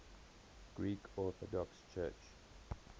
greek orthodox church